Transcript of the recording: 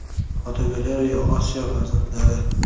Fotogalereya: Osiyo farzandlari.